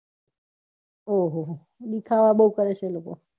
ઓહોહો દેખાવો બૌ કરે છે લોકો